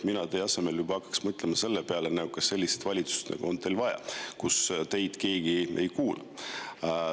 Mina teie asemel hakkaks juba mõtlema selle peale, kas teil on vaja sellises valitsuses, kus teid keegi ei kuula.